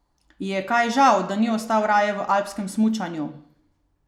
Ji je kaj žal, da ni ostal raje v alpskem smučanju?